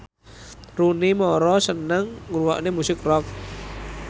Rooney Mara seneng ngrungokne musik rock